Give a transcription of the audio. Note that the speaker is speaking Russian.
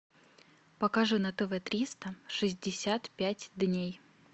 покажи на тв триста шестьдесят пять дней